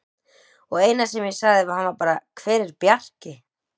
Og eina sem ég sagði við hann var bara: Hver er Bjarki?